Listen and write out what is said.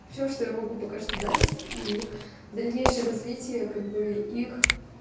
все что я могу пока что дать и дальнейшее развитие как бы их